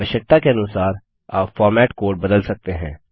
आवश्यकता के अनुसार आप फॉर्मेट कोड बदल सकते हैं